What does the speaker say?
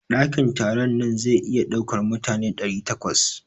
Dakin taron nan zai iya ɗaukar mutane ɗari takwas.